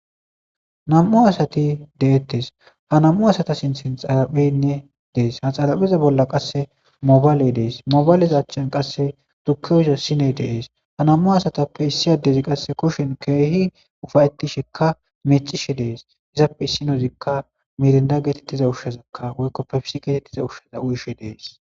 nam7u asati deettes ha nam7u asata sinthin xaraphenne dees ha xaraphiza bolla qasse mobayley dees mobaylezachchan qasse tukeyza siney deees ha nam7u asatappe issi addezi qasse kushen keehi ufayeti shekka mecishe dees izappe issinozikka miirinda geetettiza ushshazakka woykkoppefisi geetettiza ushshaza uyishe dees